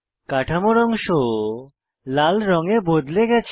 কাঠামোর অংশ লাল রঙে বদলে গেছে